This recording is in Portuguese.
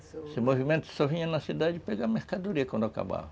Esse movimento só vinha na cidade pegar mercadoria quando acabava.